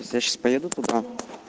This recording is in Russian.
если я сейчас поеду туда